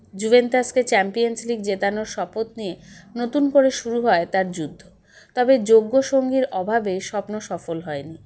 জুভেন্টাসকে Champions League জেতানোর শপথ নিয়ে নতুন করে শুরু হয় তার যুদ্ধ তবে যোগ্য সঙ্গীর অভাবে স্বপ্ন সফল হয় নি